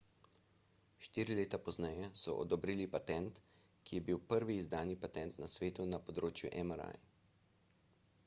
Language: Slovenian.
štiri leta pozneje so odobrili patent ki je bil prvi izdani patent na svetu na področju mri